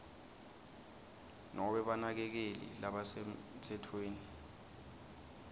nobe banakekeli labasemtsetfweni